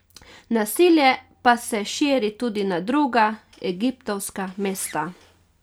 Nasilje pa se širi tudi na druga egiptovska mesta.